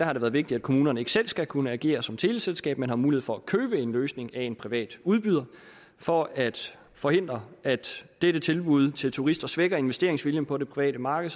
har det været vigtigt at kommunerne ikke selv skal kunne agere som teleselskab men har mulighed for at købe en løsning af en privat udbyder for at forhindre at dette tilbud til turister svækker investeringsviljen på det private marked